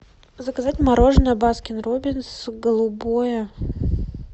заказать мороженое баскин роббинс голубое